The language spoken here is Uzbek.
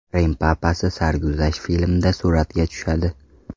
Rim papasi sarguzasht filmda suratga tushadi.